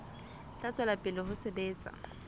tla tswela pele ho sebetsa